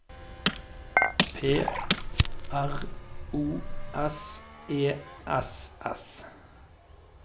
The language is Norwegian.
P R O S E S S